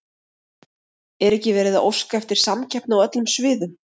Er ekki verið að óska eftir samkeppni á öllum sviðum?